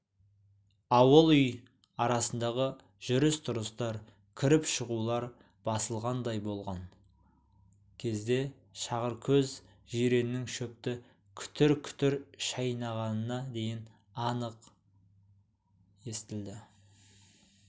ауыл-үй арасындағы жүріс-тұрыстар кіріп-шығулар басылғандай болған кезде шағыркөз жиреннің шөпті күтір-күтір шайнағанына дейін анық сөтілді